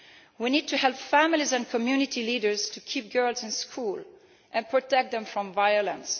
We need to help families and community leaders to keep girls in school and protect them from violence.